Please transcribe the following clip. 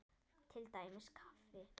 Til dæmis kaffi.